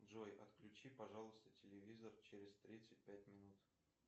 джой отключи пожалуйста телевизор через тридцать пять минут